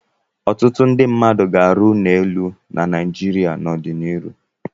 Ọtụtụ ndị mmadụ ga-arụ ụlọ elu na Naịjirịa n'ọdịnihu.